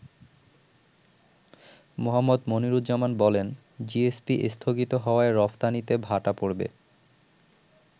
মোহাম্মদ মনিরুজ্জামান বলেন, “জিএসপি স্থগিত হওয়ায় রফতানিতে ভাটা পড়বে।